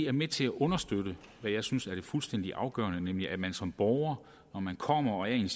er med til at understøtte hvad jeg synes er det fuldstændig afgørende nemlig at man som borger kommer i en